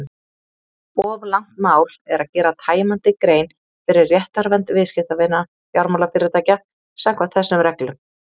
Of langt mál er að gera tæmandi grein fyrir réttarvernd viðskiptavina fjármálafyrirtækja samkvæmt þessum reglum.